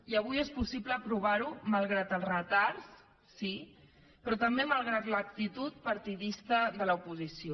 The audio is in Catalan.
i avui és possible aprovar ho malgrat el retard sí però també malgrat l’actitud partidista de l’oposició